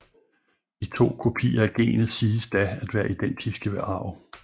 De to kopier af genet siges da at være identiske ved arv